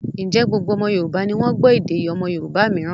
Ǹjẹ́ gbogbo ọmọ Yorùbá ni wọ́n gbọ́ èdè ọmọ Yorùbá mìíràn?